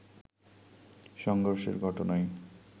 সংঘর্ষের ঘটনায়